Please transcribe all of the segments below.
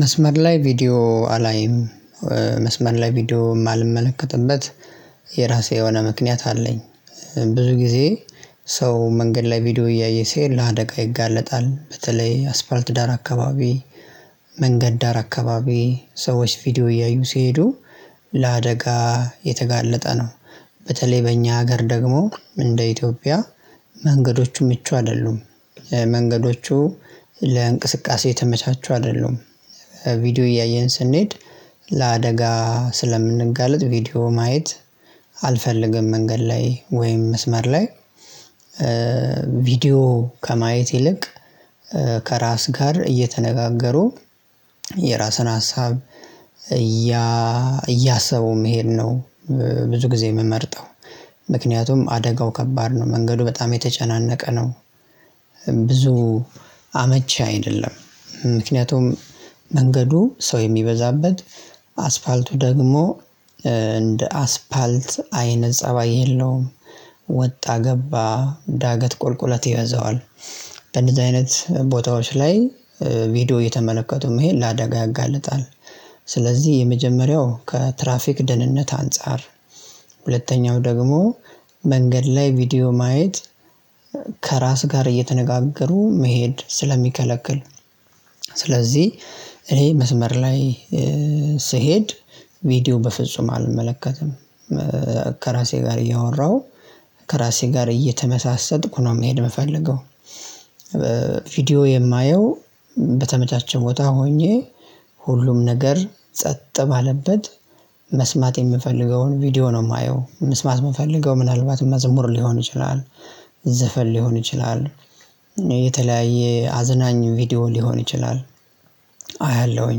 መስመር ላይ ቪዲዮ አላይም። መስመር ላይ ቪዲዮ የማልመለከትበት። የራሴ የሆነ ምክንያት አለኝ። ብዙ ጊዜ ሰው መንገድ ላይ ቪዲዮ እያየ ሲሄድ ለአደጋ ይጋለጣል በተለይ አስፋልት ዳር አካባቢ። መንገድ ዳር አካባቢ ሰዎች ቪዲዮ እያዩ ሲሄዱ ለአደጋ የተጋለጠ ነው። በተለይ በእኛ ሀገር ደግሞ እንደ ኢትዮጵያ። መንገዶቹ ምቹ አይደሉም። መንገዶቹ ለእንቅስቃሴ የተመቻቹ አይደሉም። ቪዲዮ እያየን ስንሄድ ለአደጋ ስለምንጋለጥ ቪዲዮ ማየት አልፈልግም። መንገድ ላይ ወይም መስመር ላይ ቪዲዮ ከማየት ይልቅ ከራስ ጋር እየተነጋገሩ የራስን ሀሳብ እያእያሰቡ መሄድ ነው። ብዙ ጊዜ የምመርጠው። ምክንያቱም አደጋው ከባድ ነው መንገዱ በጣም የተጨናነቀ ነው። ብዙ አመች አይደለም። ምክንያቱም መንገዱ ሰው የሚበዛበት አስፋልቱ ደግሞ እንደ አስፋልት አይነት ፀባይ የለውም። ወጣ ገባ ዳገት ቁልቁለት ይበዛዋል። በእንደዚህ አይነት ቦታዎች ላይ ቪዲዮ እየተመለከቱ መሄድ ለአደጋ ያጋልጣል። ስለዚህ የመጀመሪያው ከትራፊክ ደህንነት አንፃር ሁለተኛው ደግሞ መንገድ ላይ ቪዲዮ ማየት። ከራስ ጋር እየተነጋገሩ መሄድ ስለሚከለክል። ስለዚህ እኔ መስመር ላይ ስሄድ ቪዲዮ በፍጹም አልመለከትም። ከራሴ ጋር እያወራሁ ከራሴ ጋር እየተመሳሰጥኩ ነው መሄድ የምፈልገው። የማየው በተመቻቼ ቦታ ሆኜ ሁሉም ነገር ጸጥ ባለበት መስማት የምፈልገውን ቪዲዮ ነው የማየው መስማት የምፈልገው ምናልባት መዝሙር ሊሆን ይችላል። ዘፈን ሊሆን ይችላል። የተለያየ አዝናኝ ቪዲዮ ሊሆን ይችላል። አያለሁኝ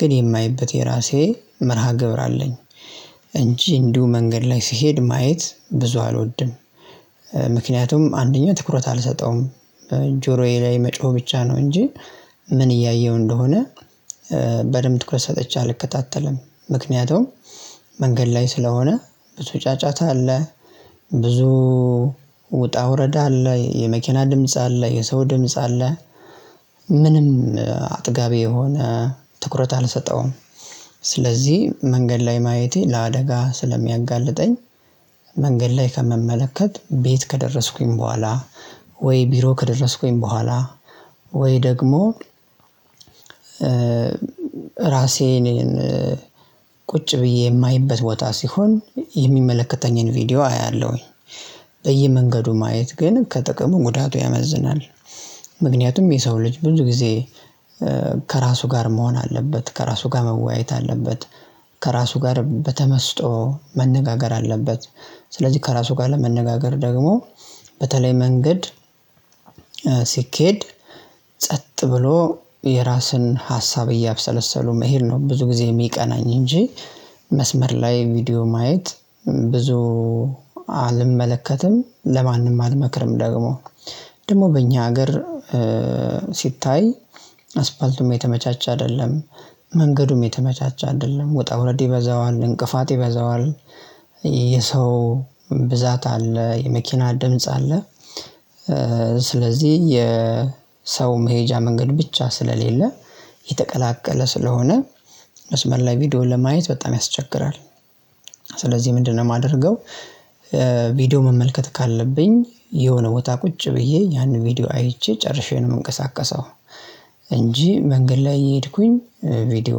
ግን የማይበት የራሴ መርሃ ግብር አለኝ። እንጂ እንዲሁ መንገድ ላይ ስሄድ ማየት ብዙ አልወድም። ምክንያቱም አንደኛው ትኩረት አልሰጠውም ጆሮዬ ላይ መጮህ ብቻ ነው እንጂ። ምን እያየሁ እንደሆነ በደንብ ትኩረት ሰጠቼ አልከታተልም ምክንያቱም መንገድ ላይ ስለሆነ ብዙ ጫጫታ አለ። ብዙ ውጣ ውረዳ አለ የመኪና ድምጽ አለ የሰው ድምጽ አለ። ምንም አጥጋቢ የሆነ ትኩረት አልሰጠውም። ስለዚህ መንገድ ላይ ማየቴ ለአደጋ ስለሚያጋልጠኝ። መንገድ ላይ ከምመለከት ቤት ከደረስኩኝ በኋላ ወይ ቢሮ ከደረስኩኝ በኋላ ወይ ደግሞ ራሴ እኔን ቁጭ ብዬ የማይበት ቦታ ሲሆን የሚመለከተኝን ቪዲዮ አያለሁኝ። በየመንገዱ ማየት ግን ከጥቅሙ ጉዳቱ ያመዝናል። ምክንያቱም የሰው ልጅ ብዙ ጊዜ ከራሱ ጋር መሆን አለበት ከራሱ ጋር መወያየት አለበት። ከራሱ ጋር በተመስጦ መነጋገር አለበት። ስለዚህ ከራሱ ጋር ለመነጋገር ደግሞ በተለይ መንገድ ሲኬድ ጸጥ ብሎ የራስን ሀሳብ እያብሰለሰሉ መሄድ ነው ብዙ ጊዜ የሚቀናኝ እንጂ። መስመር ላይ ቪዲዮ ማየት ብዙ አልመለከትም ለማንም አልመክርም። ደግሞ ደግሞ በእኛ ሀገር ሲታይ አስፋልቱም የተመቻች አይደለም። መንገዱም የተመቻቸ አይደለም ወጣ ውረድ ይበዛዋል እንቅፋት ይበዛዋል። የሰው ብዛት አለ የመኪና ድምጽ አለ። ስለዚህ የሰው መሄጃ መንገድ ብቻ ስለሌለ የተቀላቀለ ስለሆነ መስመር ላይ ቪዲዮን ለማየት በጣም ያስቸግራል። ስለዚህ ምንድነው የማደርገው? ቪዲዮ መመልከት ካለብኝ የሆነ ቦታ ቁጭ ብዬ ያንን ቪዲዮ አይቼ ጨርሼ ነው የምንቀሳቀሰው። እንጂ መንገድ ላይ እየሄድኩኝ ቪዲዮ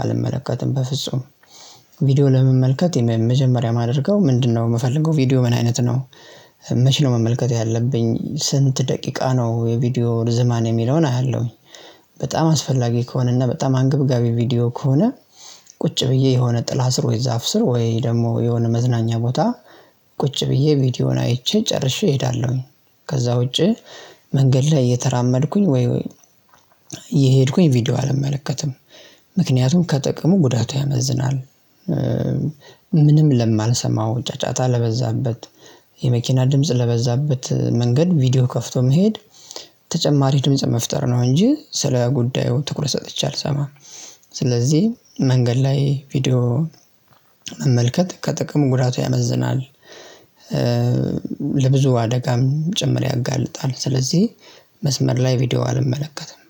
አልመለከትም በፍጹም። ቪዲዮ ለመመልከት የመ መጀመሪያ የማድረገው ምንድነው የምፈልገው ቪዲዮ ምን አይነት ነው? መቼ ነው መመልከት ያለብኝ ስንት ደቂቃ ነው የቪዲዮ ርዝማኔ የሚለውን አያለሁኝ። በጣም አስፈላጊ ከሆነ እና በጣም አንገብጋቢ ቪዲዮ ከሆነ። ቁጭ ብዬ የሆነ ጥላ ስር ወይ ዛፍ ስር ወይ ደግሞ የሆነ መዝናኛ ቦታ ቁጭ ብዬ ቪዲዮን አይቼ ጨርሼ እሄዳለሁኝ። ከዛ ውጪ መንገድ ላይ እየተራመድኩኝ ወይ እየሄድኩኝ ቪዲዮ አልመለከትም። ምክንያቱም ከጥቅሙ ጉዳቱ ያመዝናል። ምንም ለማልሰማው ጫጫታ ለበዛበት የመኪና ድምጽ ለበዛበት መንገድ ቪዲዮ ከፍቶ መሄድ። ተጨማሪ ድምጽ መፍጠር ነው እንጂ ስለ ጉዳዩ ትኩረት ሰጥቼ አልሰማም። ስለዚህ መንገድ ላይ ቪዲዮ መመልከት ከጥቅሙ ጉዳቱ ያመዝናል። ለብዙ አደጋም ጭምር ያጋልጣል። ስለዚህ መስመር ላይ ቪዲዮ አልመለከትም